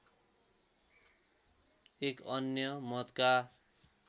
एक अन्य मतका